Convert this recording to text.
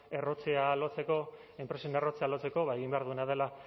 errotzea lotzeko enpresen errotzea lotzeko egin behar duena dela